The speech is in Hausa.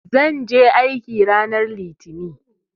Zan je aiki ranar Litinin.